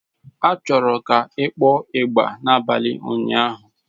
A chọrọ ka ị kpọọ ịgbà n'abalị ụnyaahụ!